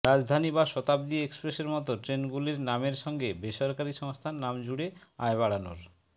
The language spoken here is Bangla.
রাজধানী বা শতাব্দী এক্সপ্রেসের মতো ট্রেনগুলির নামের সঙ্গে বেসরকারি সংস্থার নাম জুড়ে আয় বাড়ানোর